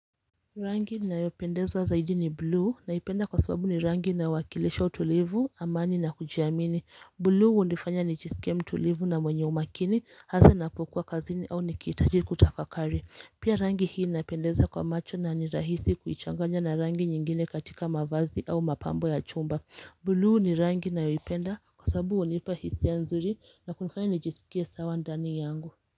Rangi na inayopendeza zaidi ni blue naipenda kwa sababu ni rangi inayo wakilisha utulivu amani na kujiamini blue hunifanya nijisike mtulivu na mwenye umakini hasa napokua kazini au nikihitaji kutafakari Pia rangi hii inapendeza kwa macho nani rahisi kuichanganya na rangi nyingine katika mavazi au mapambo ya chumba blue ni rangi nayoipenda kwa sababu hunipa hisia nzuri na kunifanya nijisikie sawa ndani yangu.